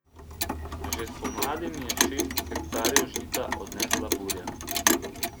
Že spomladi mi je šest hektarjev žita odnesla burja.